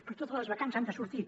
però totes les vacants han de sortir